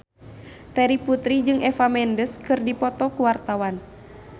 Terry Putri jeung Eva Mendes keur dipoto ku wartawan